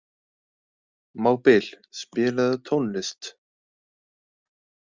Mábil, spilaðu tónlist.